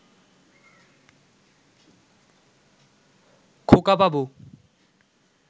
খোকাবাবু